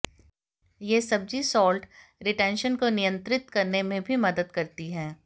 यह सब्जी salt retention को नियंत्रित करने में भी मदद करती है